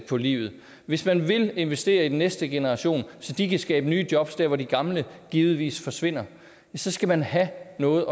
på livet og hvis man vil investere i den næste generation så de kan skabe nye jobs der hvor de gamle givetvis forsvinder så skal man have noget